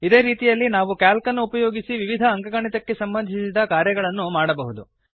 ಇದೇ ರೀತಿಯಲ್ಲಿ ನಾವು ಕ್ಯಾಲ್ಕ್ ಅನ್ನು ಉಪಯೋಗಿಸಿ ವಿವಿಧ ಅಂಕಗಣಿತಕ್ಕೆ ಸಂಬಂಧಿಸಿದ ಕಾರ್ಯಗಳನ್ನು ಮಾಡಬಹುದು